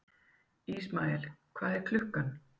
Ismael, hvað er klukkan?